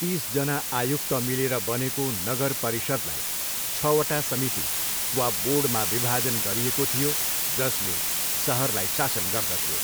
तिसजना आयुक्त मिलेर बनेको नगर परिषद्लाई छवटा समिति वा बोर्डमा विभाजन गरिएको थियो जसले सहरलाई शासन गर्दथ्यो।